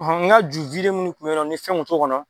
N ka ju minnu tun bɛ yɔrɔ min ni fɛn tun t'o kɔnɔ